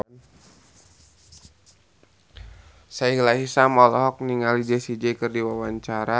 Sahila Hisyam olohok ningali Jessie J keur diwawancara